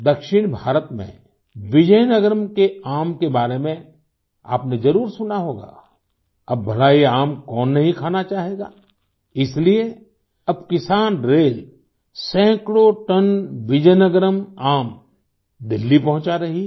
दक्षिण भारत में विजयनगरम के आम के बारे में आपनेज़रुर सुना होगा अब भला ये आम कौन नहीं खाना चाहेगा इसलिए अब किसानरेल सैकड़ों टन विजयनगरम आम दिल्ली पंहुचा रही है